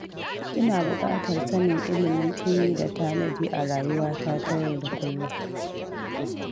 Ina buƙatar sanin ilimin tsimi da tanadi a rayuwata ta yau da kullum.